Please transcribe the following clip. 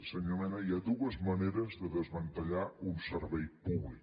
senyor mena hi ha dues maneres de desmantellar un servei públic